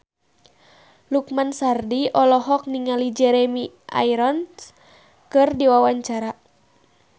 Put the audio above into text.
Lukman Sardi olohok ningali Jeremy Irons keur diwawancara